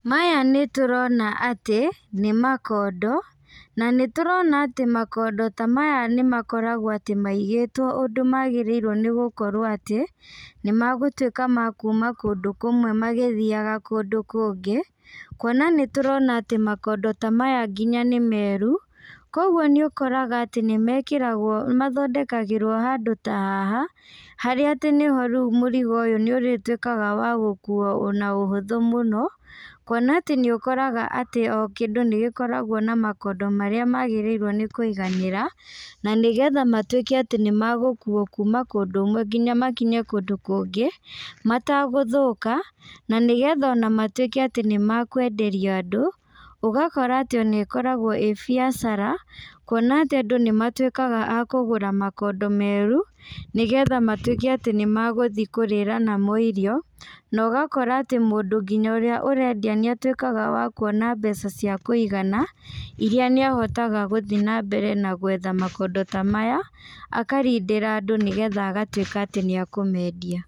Maya nĩtũrona atĩ, nĩmakondo, na nĩtũrona atĩ makondo ta maya nĩmakoragwo atĩ maigĩtwo ũndũ magĩrĩirwo nĩgũkorwo atĩ, nĩmagũtuĩka ma kuma kũndũ kũmwe magĩthiaga kũndũ kũngĩ, kuona nĩtũrona atĩ makondo ta maya nginya nĩmeru, koguo nĩũkoraga atĩ nĩmekĩragwo mathondekagĩrwo handũ ta haha, harĩa atĩ nĩho rĩu mũrigo ũyũ nĩũrĩtuikaga wa gũkuo na ũhũthũ mũno, kuona atĩ nĩũkoraga atĩ o kĩndũ nĩgĩkoragwo na makondo marĩa magĩrĩirwo nĩkũiganĩra, na nĩgetha matuĩke atĩ nĩmagũkuma kũndũ kũmwe nginya makinye kũndũ kũngĩ, matagũthũka, na nĩgetha ona matuĩke atĩ nĩmakwenderio andũ, ũgakora atĩ nĩkoragwo ĩ biacara, kuona atĩ andũ nĩmatuĩkaga a kũgũra makondo meru, nĩgetha matuĩke atĩ nĩmagũthi kũrĩra namo irio, na ũgakora atĩ mũndũ nginya ũrĩa ũrendia nĩatuĩkaga wa kuona mbeca cia kũigana, iria nĩahotaga gũthi nambere na gwetha makondo ta maya, akarindĩra andũ nĩgetha agatuĩka atĩ nĩakũmendia.